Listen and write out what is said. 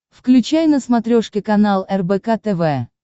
включай на смотрешке канал рбк тв